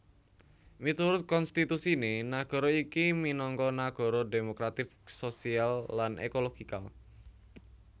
Miturut konstitusiné nagara iki minangka nagara demokratik sosial lan ekologikal